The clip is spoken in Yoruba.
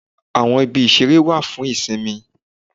Àwọn ibi ìṣeré wà fún ìsinmi